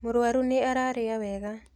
Mũrũaru nĩ ararĩa wega.